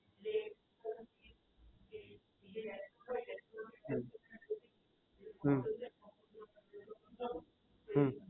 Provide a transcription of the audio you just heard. હમ હમ